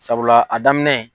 Sabula a daminɛ.